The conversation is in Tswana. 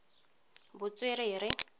botswerere